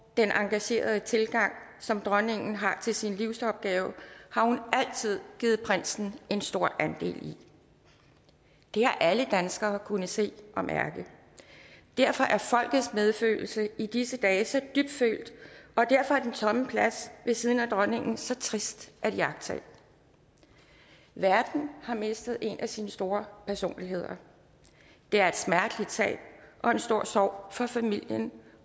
den engagerede tilgang som dronningen har til sin livsopgave har hun altid givet prinsen en stor andel i det har alle danskere kunnet se og mærke derfor er folkets medfølelse i disse dage så dybfølt og derfor er den tomme plads ved siden af dronningen så trist at iagttage verden har mistet en af sine store personligheder det er et smerteligt tab og en stor sorg for familien